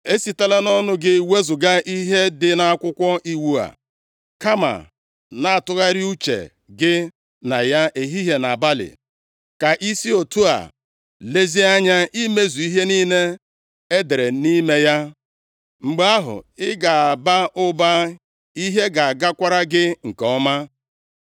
Esitela nʼọnụ gị wezuga ihe dị nʼAkwụkwọ Iwu a. Kama na-atụgharị uche gị na ya ehihie na abalị, ka i si otu a lezie anya imezu ihe niile e dere nʼime ya. Mgbe ahụ ị ga-aba ụba, ihe ga-agakwara gị nke ọma.